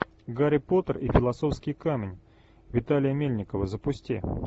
гарри поттер и философский камень виталия мельникова запусти